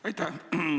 Aitäh!